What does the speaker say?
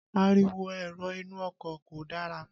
Ariwo èrò inú ọkọ̀ kò dára.